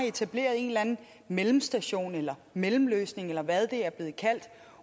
etableret en eller anden mellemstation eller mellemløsning eller hvad det er blevet kaldt